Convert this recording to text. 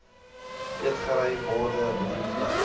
eetgery borde bedienplek